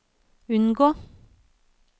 unngå